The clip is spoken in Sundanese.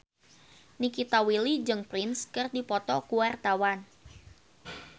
Nikita Willy jeung Prince keur dipoto ku wartawan